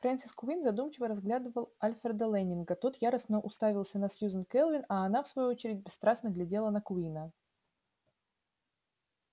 фрэнсис куинн задумчиво разглядывал альфреда лэннинга тот яростно уставился на сьюзен кэлвин а она в свою очередь бесстрастно глядела на куинна